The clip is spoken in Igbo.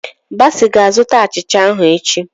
Bassey ga-azụta achịcha ahụ echi.